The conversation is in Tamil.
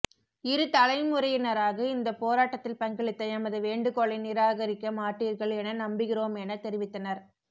இரு தலைமுறையினராக இந்தப்போராட்டத்தில் பங்களித்த எமது வேண்டுகோளை நிராகரிக்க மாட்டீர்கள் என நம்புகிறோமென தெரிவித்தனர்